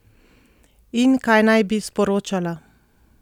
In kaj naj bi sporočala?